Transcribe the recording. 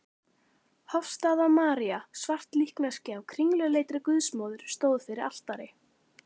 Hofsstaða-María, svart líkneski af kringluleitri Guðsmóður, stóð fyrir altari.